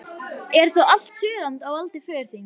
Er þá allt Suðurland á valdi föður þíns?